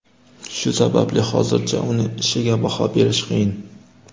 Shu sababli hozircha uning ishiga baho berish qiyin.